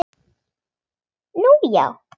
Nú, já.